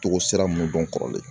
Togo sira mun dɔn kɔrɔlen